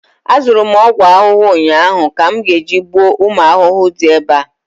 azụrụ m ogwu ahụhụ ụnyahụ ka m ga-eji gbuo ụmụ ahụhụ di ebe a